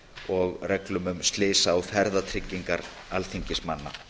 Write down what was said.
og reglum um slysa og ferðatryggingar alþingismanna